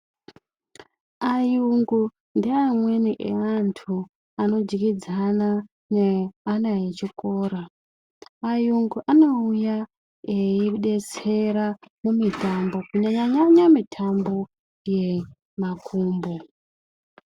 Ayungu ngeamweni eantu anodyidzana neana echikora. Ayungu anouya eidetsera mumitambo, kunyanyanyanya mitambo yemakumbo.